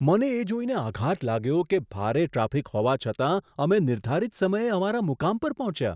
મને એ જોઈને આઘાત લાગ્યો કે ભારે ટ્રાફિક હોવા છતાં અમે નિર્ધારિત સમયે અમારા મુકામ પર પહોંચ્યા!